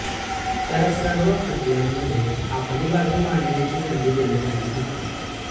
त्याला सर्व खटल्यांमध्ये आपली बाजू मांडण्याची संधी देण्यात आली होती